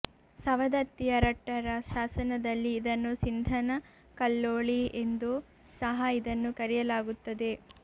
ಸವದತ್ತಿಯ ರಟ್ಟರ ಶಾಸನದಲ್ಲಿ ಇದನ್ನು ಸಿಂಧನಕಲ್ಲೋಳಿ ಎಂದು ಸಹ ಇದನ್ನು ಕರೆಯಲಾಗುತ್ತದೆ